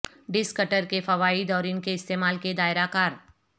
disk cutter کے فوائد اور ان کے استعمال کے دائرہ کار